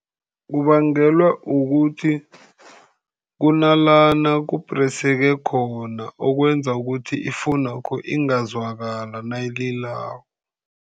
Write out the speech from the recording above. Kubangelwa kukuthi kunalana kupreseke khona, ekwenza ukuthi ifowunakho ingazwakala nayililako.